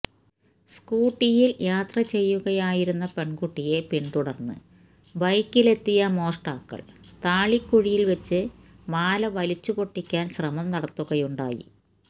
സ്കൂട്ടിയിൽ യാത്ര ചെയ്യുകയായിരുന്ന പെൺകുട്ടിയെ പിന്തുടർന്ന് ബൈക്കിലെത്തിയ മോഷ്ടാക്കൾ താളിക്കുഴിയിൽ വച്ച് മാല വലിച്ചു പൊട്ടിക്കാൻ ശ്രമം നടത്തുകയുണ്ടായി